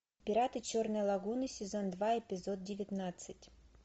пираты черной лагуны сезон два эпизод девятнадцать